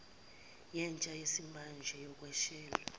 yentsha yesimanje yokweshela